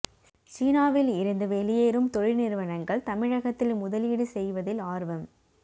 சீனாவில் இருந்து வெளியேறும் தொழில் நிறுவனங்கள் தமிழகத்தில் முதலீடு செய்வதில் ஆா்வம்